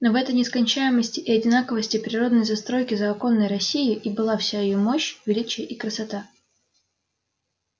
но в этой нескончаемости и одинаковости природной застройки заоконной россии и были вся её мощь величие и красота